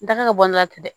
N da ka bɔ ne la ten dɛ